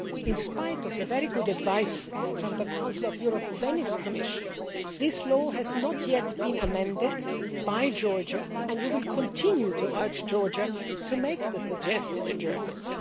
In spite of the very good advice from the Council of Europe's Venice Commission, this law has not yet been amended by Georgia, and we will continue to urge Georgia to make the suggested adjustments.